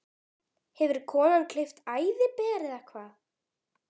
Hefur konan gleypt æðiber, eða hvað?